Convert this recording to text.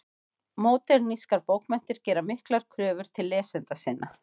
Módernískar bókmenntir gera miklar kröfur til lesenda sinna.